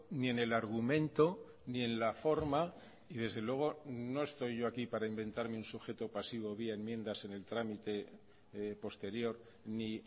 ni en el argumento ni en la forma y desde luego no estoy yo aquí para inventarme un sujeto pasivo vía enmiendas en el trámite posterior ni